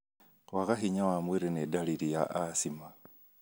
Kwaga hinya wa mwĩrĩ nĩ ndariri ya asthma.